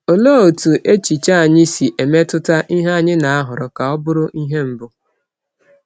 Òlee otú echiche anyị si emetụta ihe anyị na-ahọrọ ka ọ bụrụ ihe mbụ?